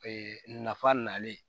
Ee nafa nalen